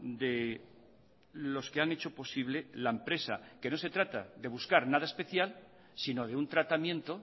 de los que han hecho posible la empresa que no se trata de buscar nada especial sino de un tratamiento